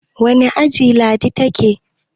wane aji Ladi ta ke?